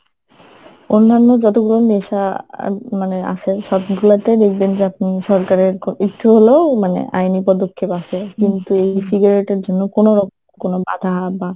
অন্যান্য যতগুলো নেশা মানে আছে সবগুলাতেই আপনি দেখবেন যে আপনি সরকারের একটু হলেও মানে আইনি পদক্ষেপ আছে কিন্তু এই cigarette এর জন্য কোনোরকম কোনো বাধা বা